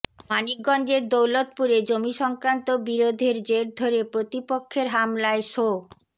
মানিকগঞ্জের দৌলতপুরে জমিসংক্রান্ত বিরোধের জের ধরে প্রতিপক্ষের হামলায় শো